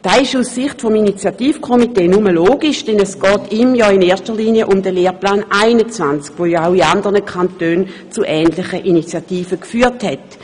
Das ist aus Sicht des Initiativkomitees nur logisch, denn es geht dem Komitee ja in erster Linie um den Lehrplan 21, der auch in anderen Kantonen zu ähnlichen Initiativen geführt hat.